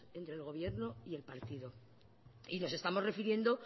entre gobierno y el partido nos estamos refiriendo